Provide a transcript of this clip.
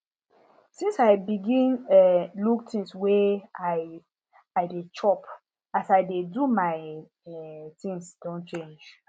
since i begin um look things wey i i dey chop as i dey do my um things don change